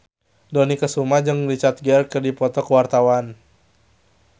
Dony Kesuma jeung Richard Gere keur dipoto ku wartawan